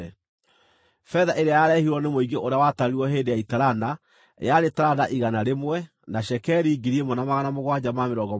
Betha ĩrĩa yarehirwo nĩ mũingĩ ũrĩa watarirwo hĩndĩ ya itarana yarĩ taranda 100 na cekeri 1,775, kũringana na cekeri ya handũ-harĩa-haamũre,